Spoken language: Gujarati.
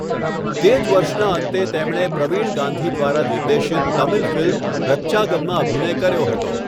તે જ વર્ષના અંતે તેમણે પ્રવીણ ગાંધી દ્વારા નિર્દેશિત તમિલ ફિલ્મ રત્ચાગનમાં અભિનય કર્યો હતો.